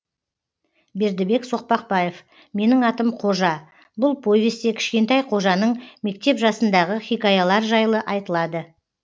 бердібек соқпақбаев менің атым қожа бұл повесте кішкентай қожаның мектеп жасындығы хикаялар жайлы айтылады